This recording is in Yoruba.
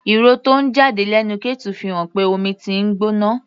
Ìró tó ń jáde lẹ́nu kettle fi hàn pé omi tí ń gbóná.